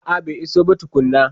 A'a bai iso ba tukuna